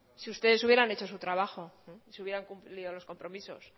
si ustedes hubieran hecho su trabajo si hubieran cumplido los compromisos